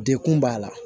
Dekun b'a la